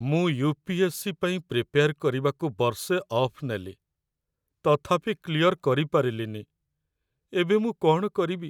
ମୁଁ ୟୁ.ପି.ଏସ୍.ସି. ପାଇଁ ପ୍ରିପେୟାର କରିବାକୁ ବର୍ଷେ ଅଫ୍ ନେଲି, ତଥାପି କ୍ଲିୟର କରିପାରିଲିନି । ଏବେ ମୁଁ କ'ଣ କରିବି?